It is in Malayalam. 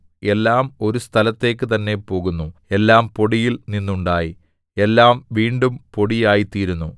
എല്ലാം ഒരു സ്ഥലത്തേക്ക് തന്നെ പോകുന്നു എല്ലാം പൊടിയിൽ നിന്നുണ്ടായി എല്ലാം വീണ്ടും പൊടിയായ്ത്തീരുന്നു